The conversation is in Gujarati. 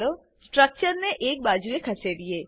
ચાલો સ્ટ્રક્ચરને એક બાજુ એ ખસેડીએ